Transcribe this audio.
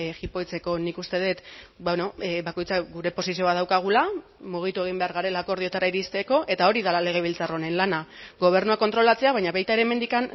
jipoitzeko nik uste dut bakoitzak gure posizio bat daukagula mugitu egin behar garela akordioetara iristeko eta hori dela legebiltzar honen lana gobernua kontrolatzea baina baita ere hemendik